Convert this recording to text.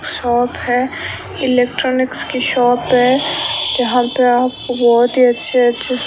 shop है electronics की shop है जहां पे आप बहोत ही अच्छे-अच्छे --